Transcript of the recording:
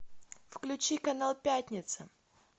включи канал пятница